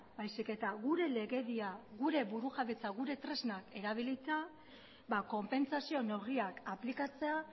baizik eta gure legedia gure burujabetza gure tresnak erabilita konpentsazio neurriak aplikatzea